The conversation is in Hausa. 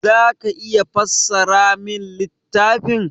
Za ka iya fassara min littafin?